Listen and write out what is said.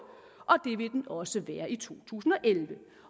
og også være i to tusind og elleve